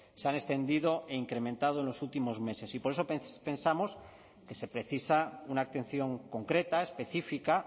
se han extendido e incrementado en los últimos meses y por eso pensamos que se precisa una atención concreta específica